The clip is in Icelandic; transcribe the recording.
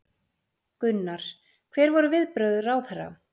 Gunnar: Hver voru viðbrögð ráðherra?